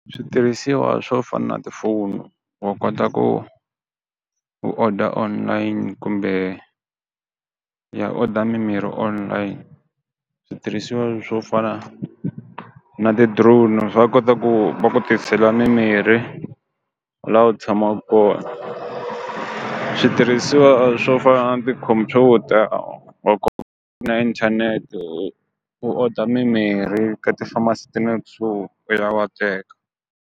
Switirhisiwa swo fana tifonu wa kota ku ku order online kumbe ya order mimirhi online, switirhisiwa swo fana na ti drone va kota ku va ku tisela mimirhi la u tshamaku kona, switirhisiwa swo a ti-computer wa na inthanete u order mimirhi ka ti-pharmacy ta le kusuhi u ya wa teka.